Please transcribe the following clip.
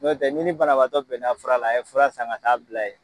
Notɛ n'i ni banabagatɔ bɛna fura la, a ye furan san ka t'a bila yen!